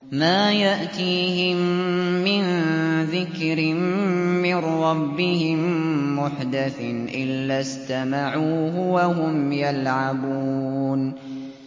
مَا يَأْتِيهِم مِّن ذِكْرٍ مِّن رَّبِّهِم مُّحْدَثٍ إِلَّا اسْتَمَعُوهُ وَهُمْ يَلْعَبُونَ